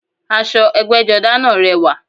Aṣọ ẹgbẹ́jọdá náà rẹwà